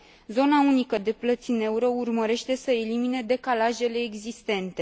Zona unică de plăți în euro urmărește să elimine decalajele existente.